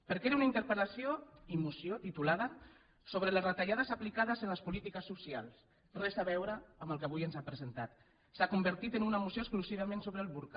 perquè era una interpel·lació i moció titulades sobre les retallades aplicades a les polítiques socials res a veure amb el que avui ens ha presentat s’ha convertit una moció exclusivament sobre el burca